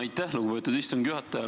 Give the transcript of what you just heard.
Aitäh, lugupeetud istungi juhataja!